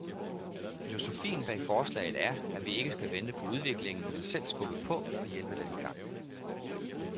Filosofien bag forslaget er, at vi ikke skal vente på udviklingen, men selv skubbe på og hjælpe den i gang.